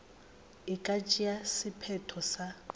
e ka tšea sephetho sa